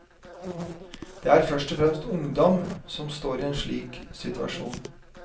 Det er først og fremst ungdom som står i en slik situasjon.